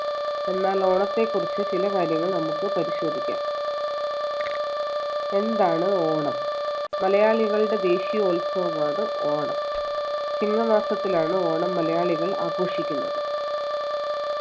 എന്നാൽ ഓണത്തെക്കുറിച്ച് ചില കാര്യങ്ങൾ നമുക്ക് പരിശോധിക്കാം എന്താണ് ഓണം മലയാളികളുടെ ദേശീയോത്സവമാണ് ഓണം ചിങ്ങമാസത്തിലാണ് ഓണം മലയാളികൾ ആഘോഷിക്കുന്നത്